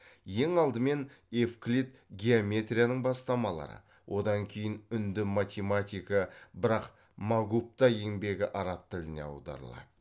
ең алдымен евклид геометрияның бастамалары одан кейін үнді математигі брахмагупта еңбегі араб тіліне аударылады